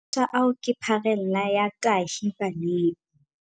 Mathata ao ke pharela ya tahibaneng.